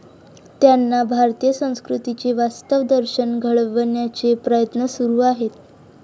त्यांना भारतीय संस्कृतीचे वास्तव दर्शन घडवण्याचे प्रयत्न सुरू आहेत.